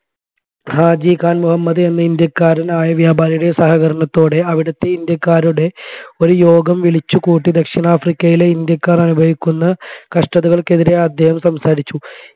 ഹാജി ഖാൻ മുഹമ്മദ് എന്ന ഇന്ത്യക്കാരായ വ്യാപാരിയുടെ സഹാകാരണാത്തോടെ അവിടത്തെ ഇന്ത്യക്കാരുടെ ഒരു യോഗം വിളിച്ചു കൂട്ടി ദക്ഷിണാഫ്രിക്കയിലെ ഇന്ത്യക്കാർ അനുഭവിക്കുന്ന കഷ്ടതകൾക്കെതിരെ അദ്ദേഹം സംസാരിച്ചു